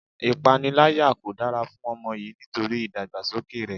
Ipanilaya kò dára fún ọmọ yìí nítorí idagbasoke rẹ.